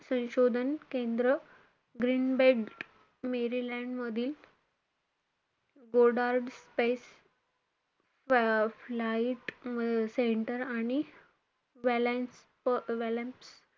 संशोधन केंद्र Greenbelt Maryland मधील Goddard Space um Flight Center आणि